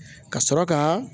Ka sɔrɔ ka